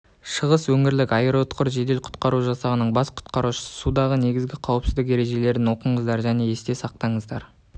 шығыс өңірлік аэроұтқыр жедел құтқару жасағының бас құтқарушысы судағы негізгі қауіпсіздік ережелерін оқыңыздар және есте сақтаңыздар